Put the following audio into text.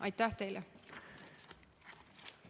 Aitäh teile!